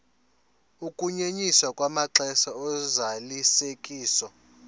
ukunyenyiswa kwamaxesha ozalisekiso